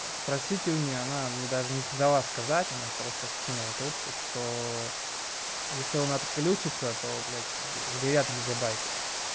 спросите у неё она мне даже не сдала сказать она просто скинула трубку что если он отключится то блядь как бы сгорят гигабайты